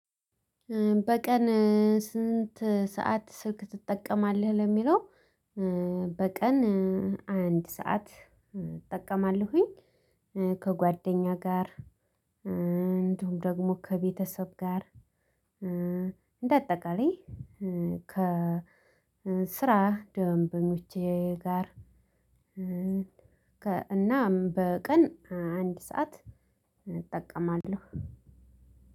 በቀን ስንት ሰዓት ስልክ ትጠቀማለህ ለሚለው? በቀን አንድ ሰዓት እጠቀማለሁኝ። ከጓደኛ ጋር እንዲሁም ደግሞ ከቤተሰብ ጋር እንደ አጠቃላይ ከስራ ደንበኞቼ ጋር። እናም በቀን አንድ ሰዓት እጠቀማለሁ።